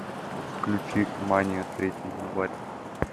включи мания третий январь